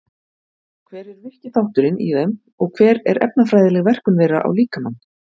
Hver er virki þátturinn í þeim og hver er efnafræðileg verkun þeirra á líkamann?